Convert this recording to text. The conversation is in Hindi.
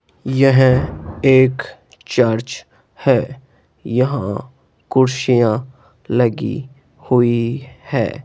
यह एक चर्च है यहां कुर्सियां लगी हुई है।